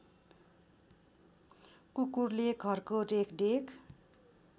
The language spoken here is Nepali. कुकुरले घरको रेखदेख